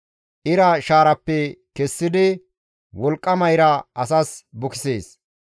Ira shaarappe kessidi wolqqama ira asas bukisees.